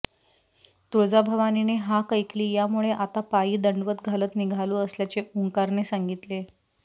तुळजाभवानीने हाक ऐकली यामुळे आता पायी दंडवत घालत निघालो असल्याचे ओंकारने सांगितले